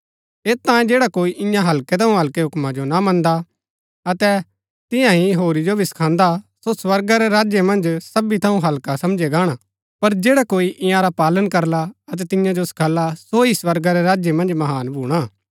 ऐत तांयें जैडा कोई ईयां हल्कै थऊँ हल्कै हुक्मा जो ना मन्दा अतै तियां ही होरी जो भी सखांदा सो स्वर्गा रै राज्य मन्ज सबी थऊँ हल्का समझया गाणा पर जैडा कोई ईआंरा पालन करला अतै तियां जो सखाला सो ही स्वर्गा रै राज्य मन्ज महान भूणा